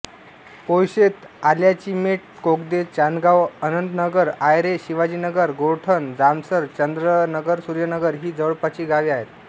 पोयशेत आल्याचीमेट कोगदे चांदगाव अनंतनगर आयरे शिवाजीनगर गोरठण जामसर चंद्रनगरसूर्यनगर ही जवळपासची गावे आहेत